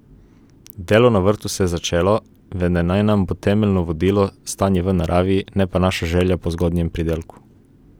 Delo na vrtu se je začelo, vendar naj nam bo temeljno vodilo stanje v naravi, ne pa naša želja po zgodnjem pridelku.